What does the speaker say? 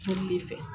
Joli de fɛ